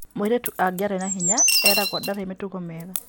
Mũirĩtu angĩaria na hinya eragwo ndarĩ mĩtugo mĩega